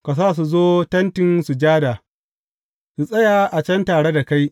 Ka sa su zo Tentin Sujada, su tsaya a can tare da kai.